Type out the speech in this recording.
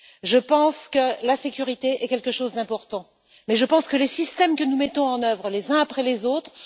Je pense que la sécurité est quelque chose d'important mais je constate aussi les échecs des systèmes que nous mettons en œuvre les uns après les autres.